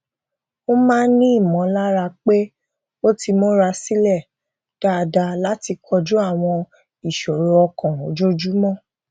ó máa ń ní ìmọlára pé ó ti mura sílẹ dáadáa láti koju àwọn ìṣòro ọkàn ojoojúmọ